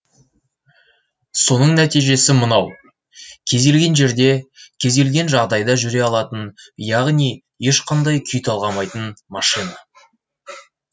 соның нәтижесі мынау кез келген жерде кез келген жағдайда жүре алатын яғни ешқандай күй талғамайтын машина